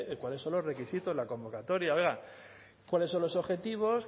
cuáles son los requisitos la convocatoria oiga cuáles son los objetivos